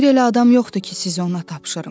Bir elə adam yoxdur ki, sizi ona tapşırım.